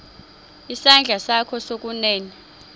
isandla sakho sokunene